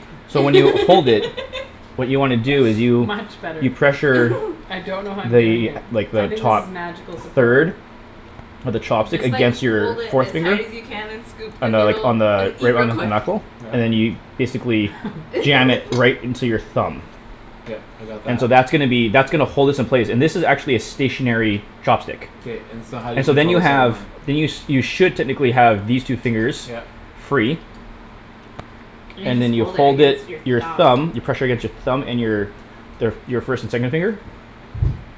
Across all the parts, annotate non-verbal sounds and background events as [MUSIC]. so when you hold it [LAUGHS] what you wanna do is you Much better. you pressure [LAUGHS] I don't know how I'm doing it. the, like, I the think this top is magical supporter. third of the You chopstick just, like, against your hold it forth as finger hard as you can and scoop the on the, like, noodle on and the eat right real on the quick. knuckle and then you Yeah. basically jam it right [LAUGHS] into your thumb. Yep, I got And so that. that's gonna be, that's gonna hold this in place, and this is actually a stationary K- chopstick. k, and so how do you And so then control you the second have one? then you sh- should technically have these two fingers Yep. free. And you and just then you hold it hold against your it, your thumb. thumb, you pressure against your thumb, and your their f- your first and second finger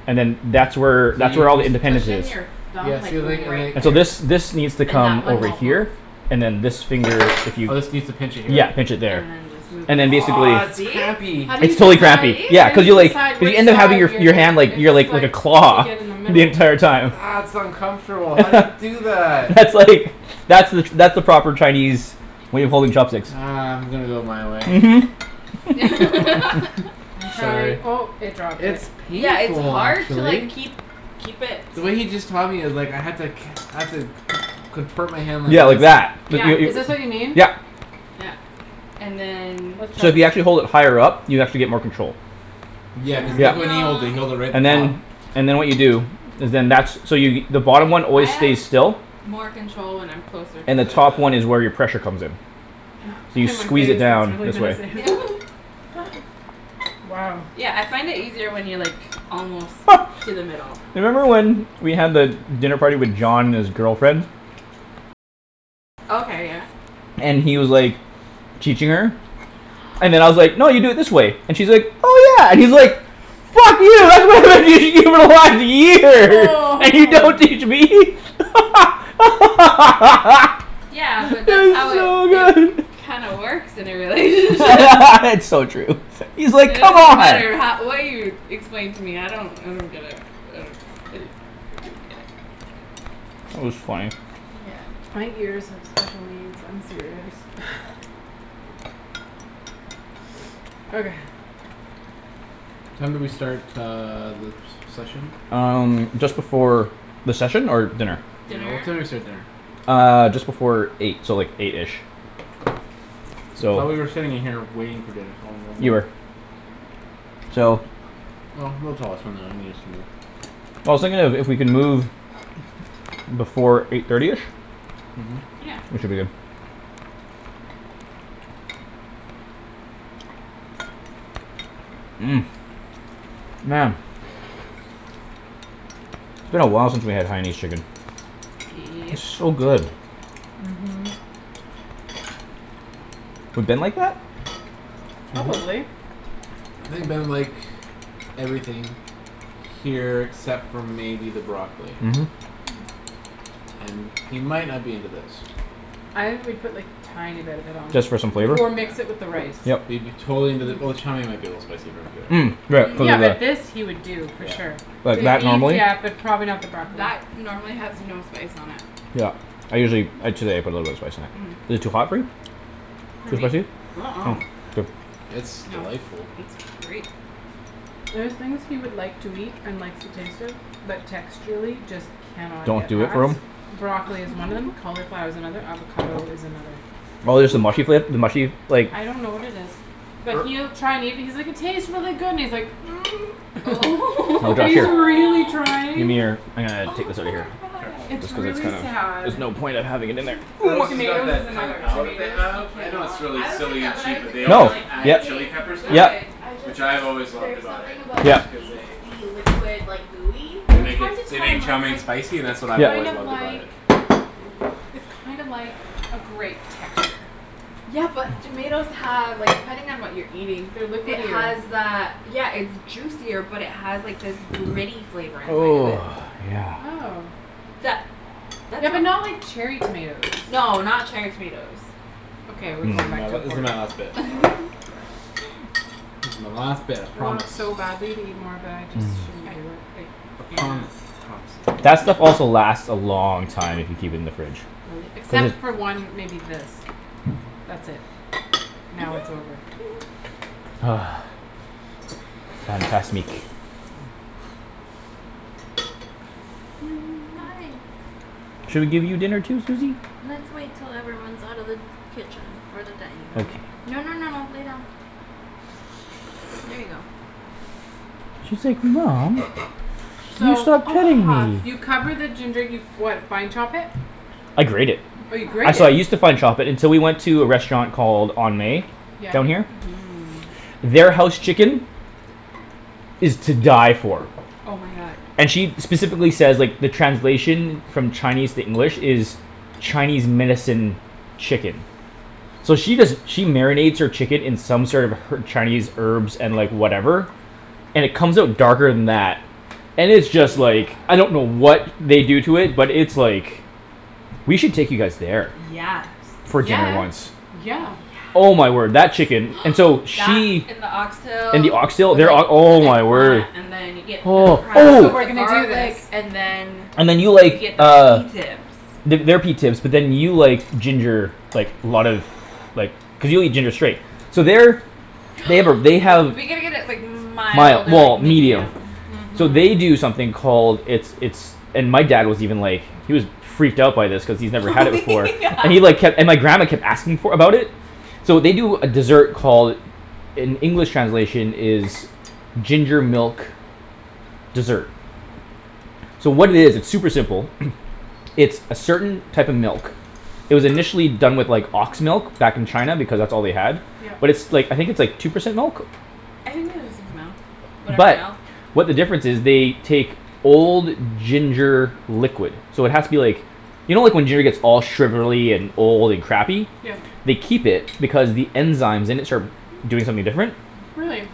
and then that's where So that's where all the Push independence in is. your you thumb, Yeah, like, see, and like, and right like And so this, there. this needs to And that come one over won't move. here, and then this finger, if you Oh, this needs to pinch it here. Yeah, pinch it there. And and then then basically Ah, that's this. [INAUDIBLE] crampy. How do you It's totally See? decide, crampy, See? yeah. how do Cuz you you, like, decide you which end up having side your f- you're your gonna, hand like, your, it's like, like a like You take claw it in the middle. the entire Ah, time. that's uncomfortable. How do you [LAUGHS] do that? That's, like, that's the that's the proper Chinese way of holding chopsticks. Ah, I'm gonna go my way. Mhm. [LAUGHS] [LAUGHS] I'm Sorry. trying, oh, it dropped it. It's Yeah, it's painful hard to like actually. keep, keep it The way he just taught me, it's like, I had to ca- I have to con- contort my hand like Yeah, like that. this. Like Yeah. yo- Is this what you yo- mean? yep. Yeah. And then So if you actually [INAUDIBLE] hold it higher up, you actually get more control. Yeah, cuz look Yep. when he holds it; No. he holds it right at And the top. then, and then what you do is then, that's, so you the Se- bottom one I always have stays still more control when I'm closer to and the it top one is though. where your pressure comes in. So you squeeze it down this way [INAUDIBLE] [LAUGHS] Wow. Yeah, I find it easier when you're, like almost [LAUGHS] to the middle. You remember when we had the dinner party with John and his girlfriend? Okay, yeah. And he was, like teaching her and then I was like, "No, you do it this way." And she's like, "Oh, yeah" and he's like "Fuck you [LAUGHS] [INAUDIBLE] for one year, Oh. and you don't teach me?" [LAUGHS] Yeah, but that's That how was it, so it good. kinda works in a [LAUGHS] relationship. [LAUGHS] It's so true. He's, It like, "Come doesn't on." matter how, what you explain to me; I don't, I don't get it. I don't get it. I don't get it. That was funny. Yeah. My ears have special needs. I'm serious. Okay. What time did we start uh the se- session? Um, just before The session? Or dinner? Yeah, what time did we start dinner? Uh, just before eight, so like eight-ish. So. Thought we were sitting in here waiting for dinner, so You were. [INAUDIBLE] So. No, no. [INAUDIBLE] I was thinking if, if we can move before eight thirty-ish Mhm. Yeah. we should be good. Mmm, man. It's been a while since we had Haianese chicken. Yep. It's so good. Mhm. Mhm. We've been like that? Mhm. [NOISE] Probably. I think Ben would like everything here except for maybe the broccoli. Mhm. And he might not be into this. I would put, like, tiny bit of it on. Just for some flavor? Or mix it Yeah. with the rice. Yep. He'd be totally into the, well, the chow mein might be a little spicy for him too, actually. Mm, right, cuz Yeah, of but this the he would do for sure. Yeah. Like, The that, beef, normally? yeah, but probably not the broccoli. That normally has no spice on it. Yep, I usually, ah, today I put a little bit of spice in it. Is it too hot for you? For Too me? spicy? Uh- uh. Oh, good. It's No, delightful. it's great. There are thing he would like to eat and likes to taste it but texturally just can not Don't get do it past. for him? Broccoli is one of them, [NOISE] cauliflower is another, Hm. avocado is another. Oh there's the mushy fla- the mushy, like I don't know what it is. But Or he'll try and eat and he's like, "It tastes really good" and he's like, [NOISE] Oh. [LAUGHS] [LAUGHS] And he's a [INAUDIBLE] really Aw. trying. Gimme your, ah, take Oh, this outta poor here. Sure. It's guy. Cuz it's really kind of, sad. there's no point of having it in there. Earl's has got Tomatoes is that Kung another. Pow that they Tomatoes, he have. I know it's cannot. really I was like silly and that when I cheap was but a they kid always though. No, They add yep. chile taste peppers to it Yep. good. I just, which I've always loved there's about it, something about that Yeah. just cause they pasty liquid, like, gooey. they Well, I make it, tried to they tell make him. I chow was mein like, spicy and that's what "It's I've Yeah kind always of loved about like it. it's kind of like a grape texture." Yeah, but tomatoes have, like, depending on what you're eating They're it liquidier. has that, yeah, it's juicier but it has, like, this [NOISE] gritty flavor inside of it. Oh, yeah. Oh. That That's Yeah, what but not like cherry tomatoes. No, not cherry tomatoes. Okay, we're This going is back my, to Mm. this is my last [INAUDIBLE] bit. [LAUGHS] This is my last bit, I I promise. want so badly to eat more but I just Mm. I, I shouldn't do it. [NOISE] I can't promise. My That promise stuff is also a lie. lasts a long time if you keep it in the fridge. Really, Cuz except [NOISE] it for one, maybe this. That's it; now it's over. [LAUGHS] [NOISE] [INAUDIBLE] Hi. [NOISE] Should we give you dinner too, Susie? Let's wait till everyone's out of the kitchen. Or the dinning room. Okay. No, no, no, no, lay down. There you go. [INAUDIBLE] Mom. You So stopped Oh, petting huff. me. you cover the ginger, you what, fine chop it? I grate it. Oh, you I, grate it? so I use to fine chop it until we went to a restaurant called On May Yeah. down Mhm. here. Their house chicken is to die for. Oh, my god. And she specifically says, like, the translation from Chinese to English is Chinese medicine chicken. So she does she marinates her chicken in sort of her- Chinese herbs and, like, whatever and it comes out darker than that and it's just, like Yeah. I don't know what they do to it but it's, like we should take you guys there Yes. for dinner Yeah, once. yeah. Oh, yeah. Oh, my word, that chicken. And so That she and the And oxtail the oxtail, with like their ok- oh, the my eggplant word. and then you get the Oh. crab So with we're the Ooh. Oh. gonna do this. garlic and then And then you you like, get the pea uh tips. The, their pea tips but then you like ginger, like, a lot of like, cuz you'll eat ginger straight. So their [NOISE] They have a, they have We gotta get it, like, mild Mild, or, well, like, medium. medium. So Mhm. they do something called It's, it's and my dad was even like he was freaked out by this cuz he's never Oh had it before [LAUGHS] yeah. and he like kept, and my grandma kept for, about it. So they do a desert called in English translation is ginger milk dessert. So what it is, it's super simple. [NOISE] It's a certain type of milk. It was initially done with, like, ox milk back in China because that's all they had Yep. but it's, like, I think it's, like, two percent milk? I think they just use milk, whatever But milk. what the difference is, they take old ginger liquid. So it has to be, like you know like, when giner gets all sugarly and old and crappy? Yeah. They keep it because the enzymes in it start doing something different. [NOISE] Really.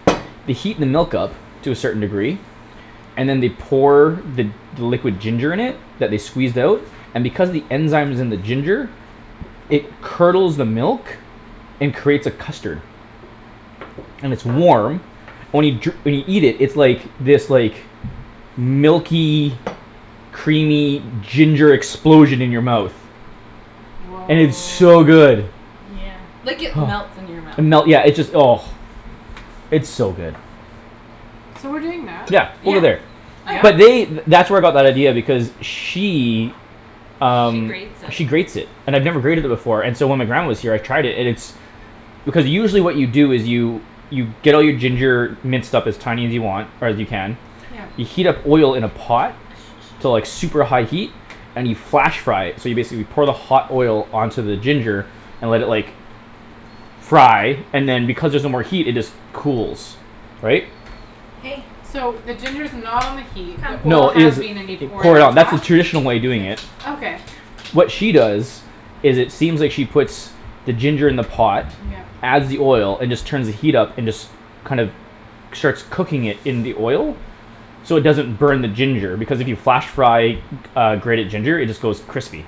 They heat the milk up to a certain degree and then they pour the, the liquid ginger in it that they squeezed out and because the enzyme's in the ginger it curdles the milk and creates a custard. And it's warm only jur- when you eat it, it's like, this, like, milky creamy ginger explosion in your mouth. Woah. And it's so good. Like, it [NOISE] melts in your And melt, mouth. yeah, it just, oh. It's so good. So we're doing that? Yeah, Yeah. over there. Yeah? Oh, But yeah. they, th- that's where I got that idea because she She um, she grates it. grates it. And I've never grated it before and so when my grandma was here I tried it, and it's because usually what you do is you you get all your ginger minced up as tiny as you want, or as you can Yeah. you heat up oil in a pot to like super high heat [NOISE] and you flash fry it so you basically pour the hot oil onto the ginger and let it, like fry and then because there's no more heat it just cools. Right? Hey. So the ginger's not on the heat, the Come. oil No, it has is. been and you pour it Pour it on out, that's the top? traditional way of doing it. Sit. Okay. What she does is it seems like she puts the ginger in the pot Yep. adds the oil and just turns the heat up and just kind of, starts cooking it in the oil. So it doesn't burn the ginger because if you flash fry uh, grated ginger it just goes crispy.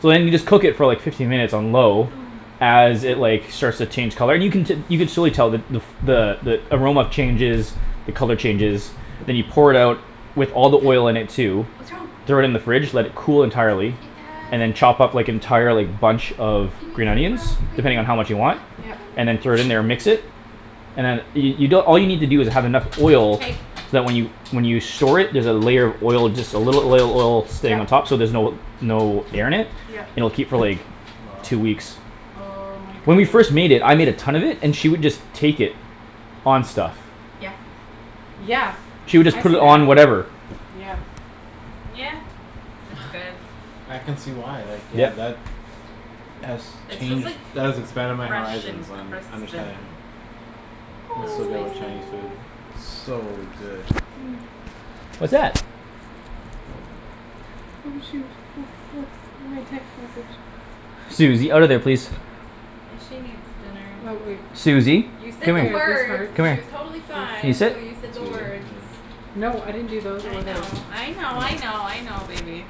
So then you just cook it for like fifteen minutes on low Oh, as it, oh. like, starts to change color, and you can te- you can surely tell the, the f- the, the aroma changes the color changes then you pour it out with all the oil in it too [NOISE] What's wrong? throw it in the fridge, let it cool entirely and [INAUDIBLE] then chop up, like, entire, like, bunch of green Gimme onions some depending on how broccoli. much you want [NOISE] Yup. Gimme and then throw it in some there and mix it broccoli. and then you, you don- all you need to do is have enough oil so Hey. that when you, when you store it, there's a layer of oil, just a little oil, oil stain on Yup. top so there's no, no air in it, Yup. and it'll keep for, like, Wow. two weeks. Oh, my When we goodness. first made it, I made a ton of it and she would just take it on stuff. Yeah. Yeah, She would just I put see it that, on whatever. yeah. Yeah, it's good. I can see why, like, yeah, Yep. that has It's just, changed, like, that has expanded my fresh and horizons on crisp and understanding a Was so little good with spicy. Chinese food, so good. Hm. What's that? [NOISE] Oh, shoot. Look, look at my text message. Susie, outta there, please. She needs dinner. [INAUDIBLE] Susie, You said come the words. here, come She here. was [INAUDIBLE] totally fine Can you This. sit? until you That's said the you, words. yeah. No, I didn't do those I or those. know, I know, I Oh. know, I know, baby.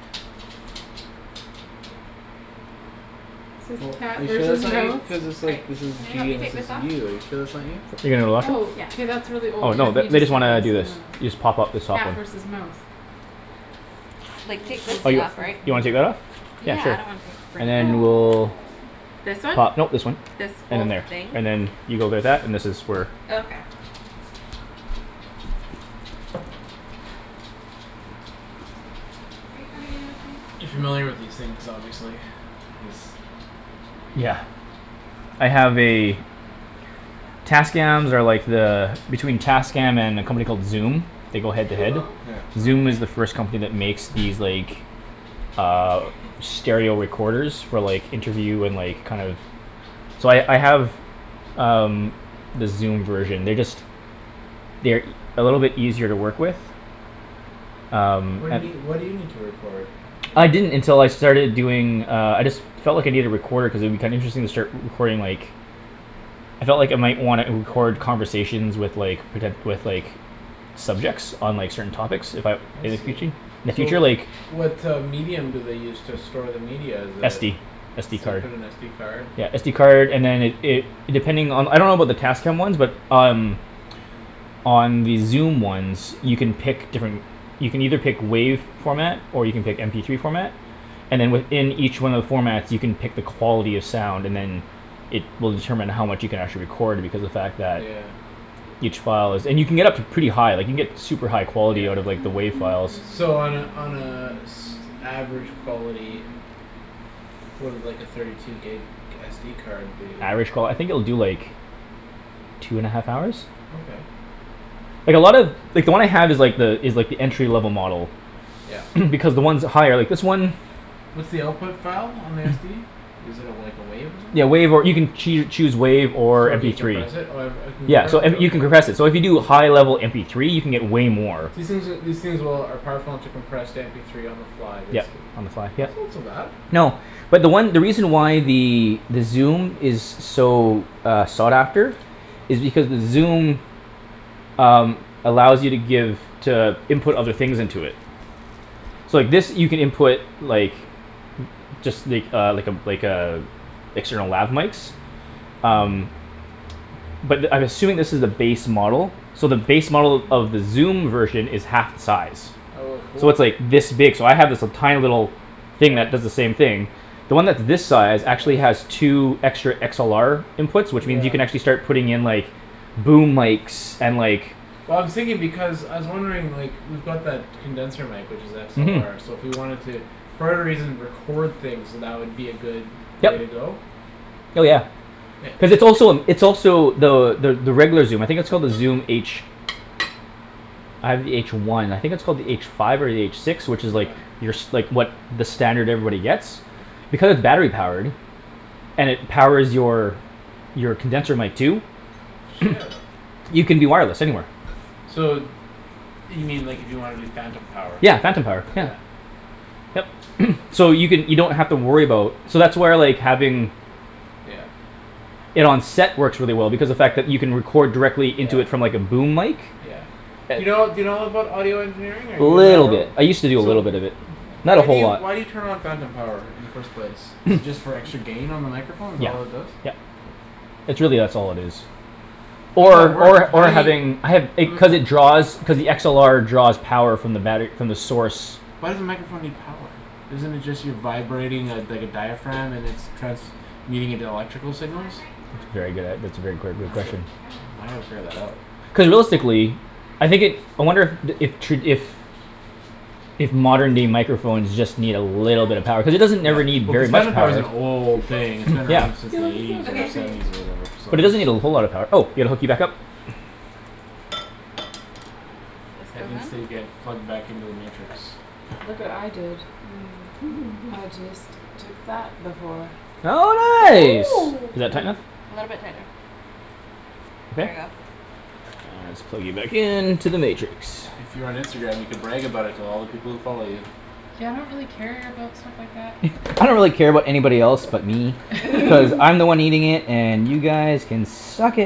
Oh, are you sure that's not you, [INAUDIBLE] cuz it's I, like, this is can you help G me and this take is this off? you. Are you sure that's not you? You're gonna what? Oh, Yeah. k, that's really Oh, old. no, Then he the, they just did this just and wanna do this. You this. just pop up this soft Cat one. versus mouse. Like, take this Oh, thing you, off, right? you wanna take that off? [INAUDIBLE] Yeah, Yeah, I don't want sure, and to [INAUDIBLE] then Oh. we'll This one? pop, no, this This whole one. thing? And then there. And then you go there that, and this is for Oh, okay. Are you coming You in with me? familiar with these things, obviously. These Yeah. I have a Tascams are like the between Tascam and a company called Zoom they go head to head. Yeah. Zoom is the first company that makes these, like, uh stereo recorders for, like interview and, like, kind of So I, I have um, the Zoom version. They're just they're e- a little bit easier to work with. Um. What do you need, what do you need to record? I didn't until I starting doing, uh, I just felt like I needed a recorder cuz it would be kinda interesting to start re- recording, like I felt like I might wanna record Yeah? conversations with, like, poten- with, like subjects on, like, certain topics if I I in the see. futu- in the So future, like what uh medium do they use to store the media is a SD. So SD you card. put an SD card? Yeah, SD card and then it, it it, depending on the, I don't about the Tascam ones but um on the Zoom ones you can pick different you can either pick WAV format or you can pick MP three format and then within each one of the formats you can pick the quality of sound, and then it will determine how much you can actually record because the fact that Yeah. each file is, and you can get up to pretty high, like, you can get super high quality out of, like, the Yeah. WAV files. So on a, on a s- average quality [NOISE] what would like a thirty two gig SD card do? Average qual- I think it will do, like two and a half hours? Okay. Like, a lot of like, the one I have is, like, the, is like, the entry level model. Yep. [NOISE] Because the ones with higher, like, this one What's the output file on the SD? Is it a, like, a wave or Yeah, WAV, or you something? can choo- choose WAV or So you MP three. decompress it? Oh uh I can Yeah, compress so, it, and you can okay. compress it, so if you do high level MP three you can get way more. These things are, these things will, are powerful enough to compress to mp three on the fly, Yep, basically? on the file, yep. That's not so bad. No, but the one, the reason why the Zoom is so, uh, sought after is because the Zoom um, allows you to give to input other things into it. So, like, this you can input like just, like, uh, like a, like a external lab mikes. Hm. Um. But I'm assuming this is the base model. So the base model of the Zoom version is half the size. Oh a So cool. it's, like, this big, so I have, like, this tiny little thing Yeah. that does the same thing. The one that's this size actually has Yeah. two extra XLR inputs which means you can Yeah. actually start putting in, like boom mikes and, like Well, I was thinking because, I was wondering, like, we've got that condenser mic which is Mhm. XLR so if we wanted to for whatever reason record things, that would be a good way to Yep. go? Hell, yeah. It, Cuz it it's also a, it's also the, the, the regular Zoom, I think it's called the Zoom H. I have the H one. I think it's called the H five or the H six, which is, like Yeah. your s- like, what, the standard everybody gets. Because battery-powered. And it powers your your condenser mic too. Shit. [NOISE] You can do wireless, anywhere. So you mean, like, if you wanna do phantom power. Yeah, phantom power, Yeah. yeah. Yep, [NOISE] so you can, you don't have to worry about So that's where, like, having Yeah. it on set works really well because the fact that you can Yeah. record directly Yeah. into it from, like, a boom mic. Yeah. Do you know, do you know about audio engineering or are Little you bit. [INAUDIBLE] I used to do a So little w- bit of it. Not a why do whole you, lot. why do you turn on phantom power in the first place? Is it [NOISE] just for extra gain on the microphone? Is that Yep, all it does? yep, it's really that's all it is. Or at Or, work, or, how or do you having, I have, it, cuz [NOISE] it draws cuz the XLR draws power from the battery, from the source. Why does the microphone need power? Isn't it just you vibrating a, dike a diaphragm and it's transmuting into electrical signals? That's a very good, ah, that's a very gor, good I gotta, question. I gotta figure that out. Cuz realistically I think it, I wonder the, if tra- if if modern day microphones just need a little bit of power cuz it doesn't Yeah, ever need well, cuz very much phantom power power. is an old thing; it's been around Yeah. since You the look eighties so or Okay. grumpy. seventies or whatever, But it doesn't need a whole lot of so. power. Oh, yeah, gotta hook you back up. Ped needs to get plugged back into the Matrix. Look what I did. I [LAUGHS] just took that before. Oh, Oh. nice. Is that tight Mm. enough? A little bit tighter. There you Okay? go. Ah, let's plug you back into the Matrix. If you were on Instagram, you could brag about it to all the people who follow you. Yeah, I don't really care about stuff like that. [NOISE] I don't really care about anybody else but me. Cuz [LAUGHS] [LAUGHS] I'm the one eating it and you guys can suck .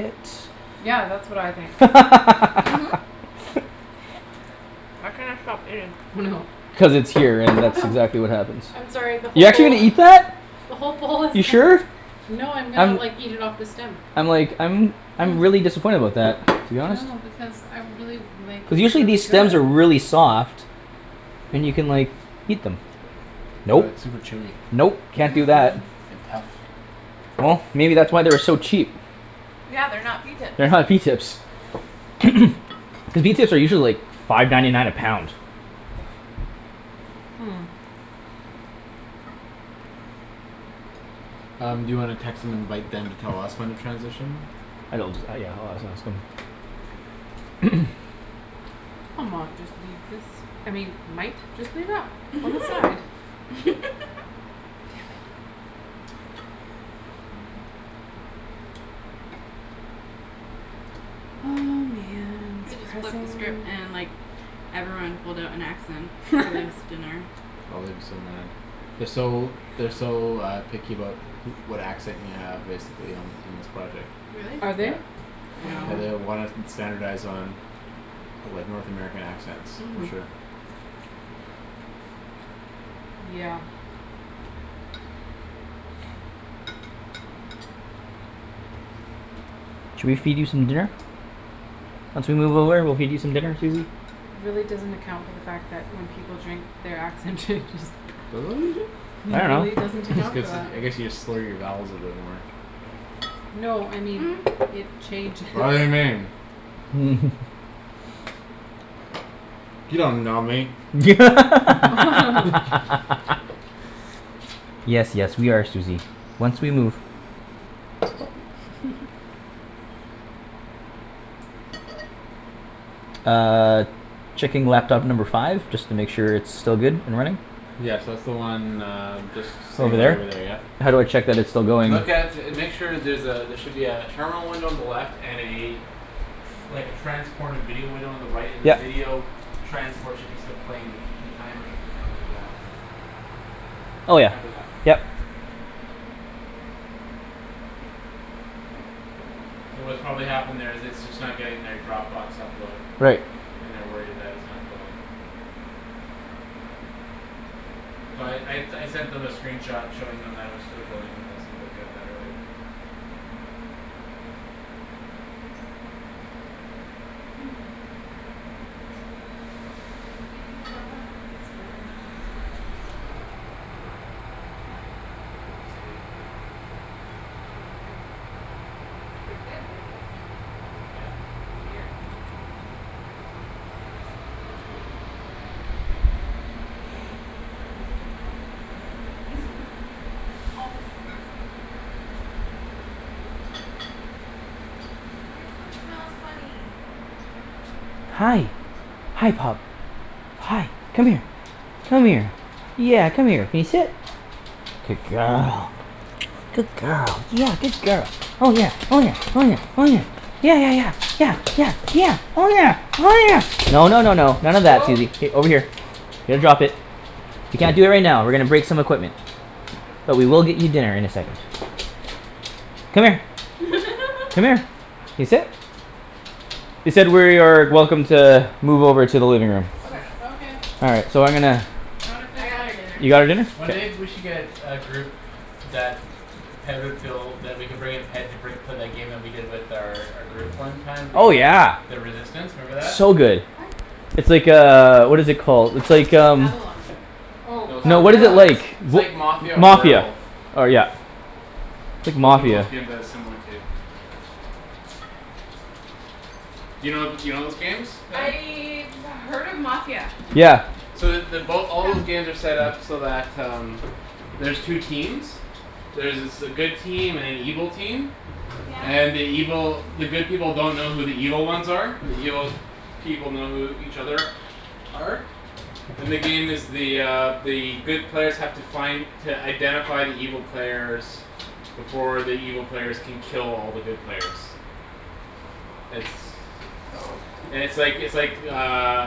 Yeah, that's what I think. Mhm. [LAUGHS] I cannot stop eating. Oh, no. Cuz it's here and Oh, that's no. exactly what happens. I'm sorry the You're whole actually bowl gonna eat that? the whole bowl is You [INAUDIBLE] sure? No, I'm gonna, I'm like, eat it off the stem. I'm like, I'm I'm really disappointed about that to be honest. No, because I really, like, Cuz it's usually really these stems are good. really soft. And you can, like eat them. But Nope, it's super chewy nope, can't do that. and tough. Well, maybe that's why they were so cheap. Yeah, they're not pea tips. They're not pea tips. [NOISE] Cuz pea tips are usually, like, five ninety nine a pound. Hmm. Um, do you wanna text and invite them to tell us when to transition? [INAUDIBLE] [NOISE] I mought just leave this, I mean, might just leave that on the side. [LAUGHS] Oh, man, its Coulda just flipped the pressing. script and, like Everyone pulled out an accent for this [LAUGHS] dinner. Oh, they'd be so mad. They're so, they're so uh picky about who- what accent you have, basically, on, in this project. Are Really? they? Yeah. Yeah, No. they uh Oh. wanna st- standardize on of like North American accents, for Mhm. sure. Yeah. Should we feed you some dinner? Once we move over we'll feed you some dinner, Susie. It really doesn't account for the fact that when people drink their accent changes. [LAUGHS] I It really dunno. doesn't This account for gets, that. I guess you just slur your vowels a bit more. No, I mean [NOISE] it changes. [LAUGHS] [LAUGHS] [INAUDIBLE] [LAUGHS] [LAUGHS] [LAUGHS] Yes, yes, we are Susie, once we move. [LAUGHS] Uh Checking laptop number five just to make sure it's still good and running. Yes, that's the one uh just Just sitting over right over there, there. yep. How do I check that it's still going? Look at, make sure there's a, there should be a terminal window on the left and a like, a transported video window on the right and the Yep. video transport should still be playing the c- the timer should be counting down. Oh yeah, Counting up, yep. yep. So what's probably happened there is it's just not getting their Dropbox upload. Right. And they're worried it, that it's not going. So I, I, I sent them a screen shot showing them that it was still going and they seemed okay with that earlier. [NOISE] [NOISE] I'm eating it all, pea stems, super good. Good work here. Yep. It saved dinner. No, they're good. They're good; they're just weird. They just need to be harvested off of the middle bits. [LAUGHS] Off, Susie. Your food smells funny. Hi, hi, pup. Hi, come here. Come here. Yeah, come here. Can you sit? Good girl. [NOISE] Good girl, yeah, good girl. Oh, yeah, oh, yeah, oh, yeah, oh, yeah. Yeah, yeah, yeah, yeah, yeah, yeah. Oh, yeah, oh, yeah, no, no, no, no. None of that, Oh. Susie, k, over here. Here, drop it. You can't do it right now. We're gonna break some equipment. But we will get you dinner in a second. Come here. Come here. [LAUGHS] Can you sit? They said we're, are welcome to move over to the living room. Okay. Okay. All right, so I'm gonna I wanna I finish got my her dinner. You pea got tips. her dinner? One day we should get a group that Ped would feel that we could bring in Ped to break for that game we did with their, our group one time, the Oh, uh yeah. the Resistance, remember that? So good. What? It's like, uh, what is it called, it's like, um Avalon. Oh, No uh No, what is it, [INAUDIBLE] like [INAUDIBLE] It's like Mafia wha- or Mafia, Werewolf. or, yeah. It's Those are both Mafia. games that it's similar to. You know, you know those games, Ped? I've heard of Mafia. Yeah. So the, they both, all Come. those games are set up so that um there's two Sit. teams. There's s- a good team and an evil team. Yeah. And the evil, the good people don't know who the evil ones are but the evil people know who each other are. And the game is the uh the good players have to find to identify the evil players before the evil players can kill all the good players. It's Oh. and it's like, it's like uh